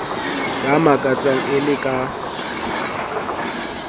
ya makatsang e le ka